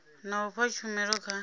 na u fha tshumelo kha